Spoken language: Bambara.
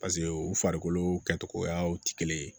paseke u farikolo kɛtogoyaw te kelen ye